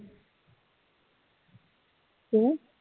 ਹੂ